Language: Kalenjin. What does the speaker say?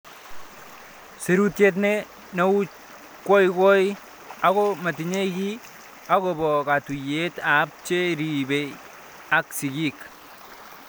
Serutiet ne nuachkoikoikoi ako matinye kiy akopo ktuyet ab che risei ak sigik